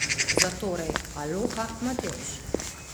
Zatorej, aloha, Matevž!